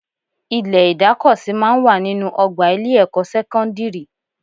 Ilẹ̀ ìdákosí máa ń wà nínú ọgbà ilé-ẹ̀kọ́ sẹ́kọ́ndírì